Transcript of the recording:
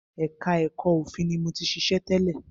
Ẹka ẹ̀kọ́ òfin ni mo ti ṣiṣẹ́ tẹ́lẹ̀.